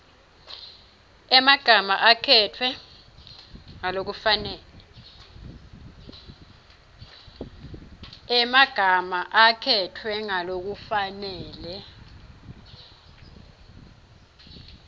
emagama akhetfwe ngalokufanele